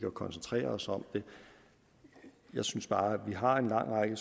at koncentrere os om det jeg synes bare at vi har en lang række